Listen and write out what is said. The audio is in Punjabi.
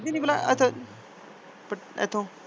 ਨੀ ਨੀ ਪਹਿਲਾ ਇਥੋਂ ਇਥੋਂ।